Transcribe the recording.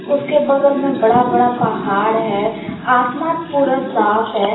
उसके बगल में बड़ा बड़ा पहाड़ है आसमान पूरा साफ है।